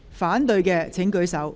反對的請舉手。